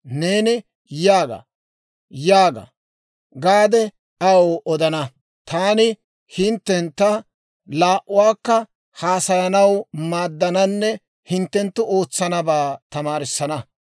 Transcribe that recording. Neeni, ‹Yaaga; yaaga› gaade aw odana; taani hinttentta laa"uwaakka haasayanaw maaddananne hinttenttu ootsanabaa tamaarissana.